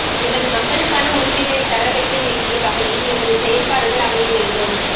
எமது மக்களுக்கான உரிமைகளை தர வைக்க வேண்டிய வகையில் எமது செயற்பாடுகள் அமைய வேண்டும்